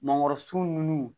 Mangoro sun nunnu